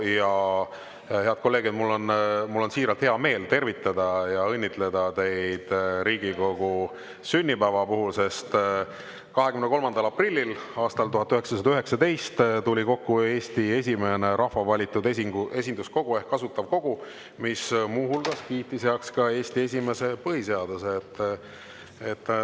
Ja head kolleegid, mul on on siiralt hea meel tervitada ja õnnitleda teid Riigikogu sünnipäeva puhul, sest 23. aprillil aastal 1919 tuli kokku Eesti esimene rahva valitud esinduskogu ehk Asutav Kogu, mis muu hulgas kiitis heaks ka Eesti esimese põhiseaduse.